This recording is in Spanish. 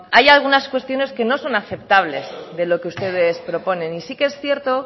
hay algunas cuestiones que no son aceptables de lo que ustedes proponen y sí que es cierto